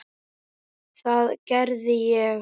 Það gerði ég.